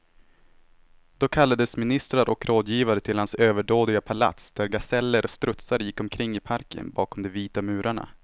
Då kallades ministrar och rådgivare till hans överdådiga palats, där gaseller och strutsar gick omkring i parken bakom de vita murarna.